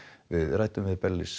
við ræddum við